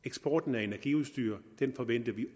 eksporten af energiudstyr forventer vi